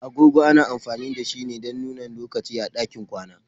Agogo ana amfani da shi ne don nuni lokaci a ɗakin kwana.